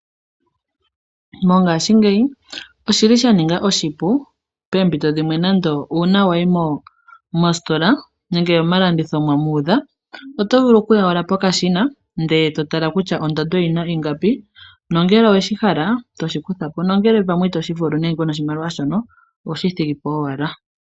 Mongashingeyi oshili sha ninga oshipu uuna poompito dhimwe wai nande omositola nenge oyomalanditho ndele omuudha, oto vulu kuya owala pokashina e to tala kutya oondando dhiinima oongapi, nangele oweshi hala to shi kutha po, ngele itoshi vulu oto shi thigi po owala.